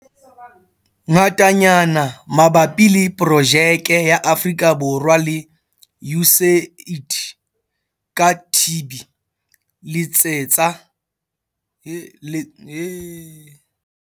Ngatanyana mabapi le Projeke ya Afrika Borwa le USAID ka TB, letsetsa- 012 484 9300.